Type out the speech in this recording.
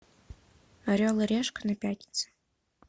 орел и решка на пятнице